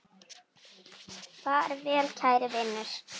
Far vel, kæri vinur.